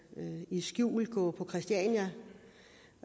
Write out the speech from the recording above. skjulte må gå på christiania